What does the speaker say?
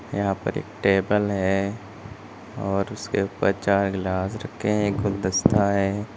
यहां पर एक टेबल है और उसके ऊपर चार ग्लास रखें हैं एक गुलदस्ता है।